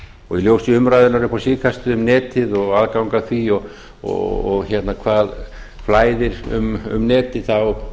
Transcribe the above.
og í ljósi umræðunnar upp á síðkastið um netið og aðgang að því og hvað blæðir um netið á